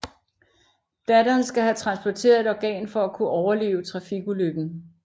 Datteren skal have transplanteret et organ for at kunne overleve trafikulykken